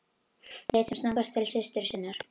Leit sem snöggvast til systur sinnar.